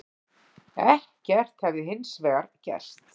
Ekkert hefði hins vegar gerst